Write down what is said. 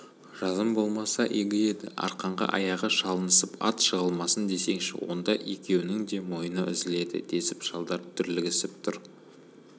жазым болмаса игі еді арқанға аяғы шалынысып ат жығылмасын десеңші онда екеуінің де мойыны үзіледі десіп шалдар дүрлігісіп тұр